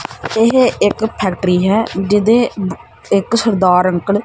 ਏਹ ਇੱਕ ਫ਼ੈਕਟ੍ਰੀ ਹੈ ਜਿਹਦੇ ਬ ਇੱਕ ਸਰਦਾਰ ਅੰਕਲ ।